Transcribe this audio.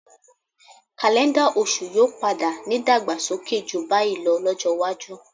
Kaléńdà oṣù yóò padà nídàgbàsókè jù báyìí lọ lọ́jọ́ iwájú.